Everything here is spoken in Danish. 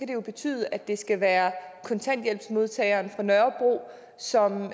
det jo betyde at det skal være kontanthjælpsmodtageren fra nørrebro som